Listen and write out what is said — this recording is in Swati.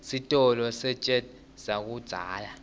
sitolo sejet sakudzala